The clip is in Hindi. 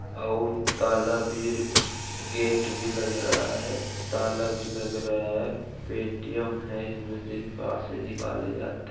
और तला विर गेट भी लग रहा है | ताला भी लग रहा है | एटीएम है इश में से पासे निकाले जाते हैं।